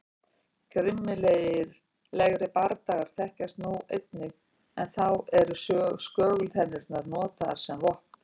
Grimmilegri bardagar þekkjast þó einnig en þá eru skögultennurnar notaðar sem vopn.